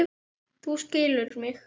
Þú skilur mig.